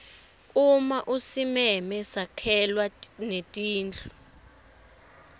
uma usimeme sakhelwa netindlu